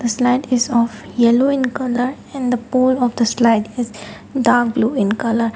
the slide is of yellow in colour and the pole of the slide is dark blue in colour.